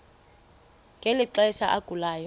ngeli xesha agulayo